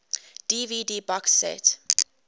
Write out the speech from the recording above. dvd box set